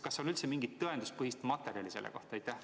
Kas on üldse mingit tõenduspõhist materjali selle kohta?